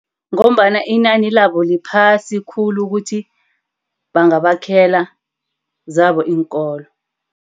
Ngombana inani labo liphasi khulu ukuthi bangabakhela zabo iinkolo.